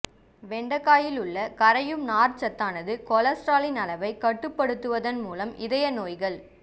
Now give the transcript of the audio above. வெண்டைக்காயில் உள்ள கரையும் நார்ச்சத்தானது கொல்ஸ்ட்ராலின் அளவைக் கட்டுப்படுவதன் மூலம் இதய நோய்கள்